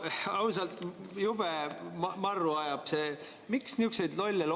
No ausalt, jube marru ajab!